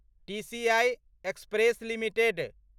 TCI Express limited